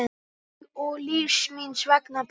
Og lífs míns vegna Pétur.